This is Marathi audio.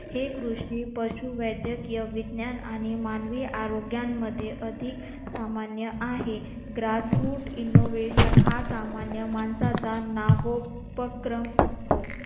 हे कृषि पशू वैद्यकीय विज्ञान आणि मानवी आरोग्यांमध्ये अधिक सामान्य आहे. grass root innovation हा सामान्य माणसाचा उपक्रम असतो.